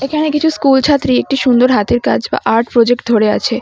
এখানে কিছু স্কুলছাত্রী একটি সুন্দর হাতের কাজ বা আর্ট প্রজেক্ট ধরে আছে।